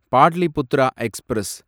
Pataliputra express